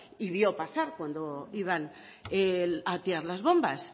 y vio pasar cuando iban a tirar las bombas